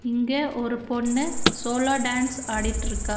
இங்க ஒரு பொண்ணு சோலா டான்ஸ் ஆடிட்ருக்கா.